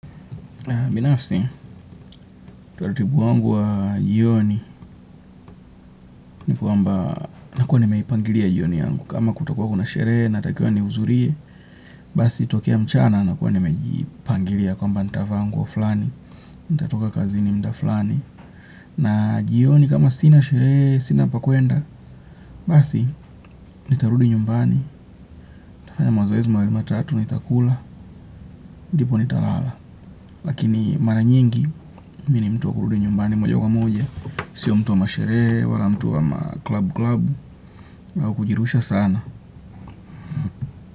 Binafsi utaratibu wangu wa jioni ni kuamba nakuwa nimeipangilia jioni yangu. Kama kutakuwa kuna shere natakiwa ni uzurie basi tokea mchana ntakuwa nimejipangilia ntavaa nguo fulani. Nitatoka kazini mda flani. Na jioni kama sina shere sina pakuenda basi nitarudi nyumbani ntafanya mazoezi matatu ntakula. Ndipo nitarala. Lakini mara nyingi mimi ni mtu wa kurudi nyumbani moja kwa moja sio mtu wa mashere wala mtu wa ma club clabu au kujirusha sana.